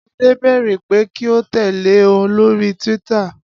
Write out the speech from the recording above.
Ade béèrè pé kí ó tẹ̀lé e lórí Twitter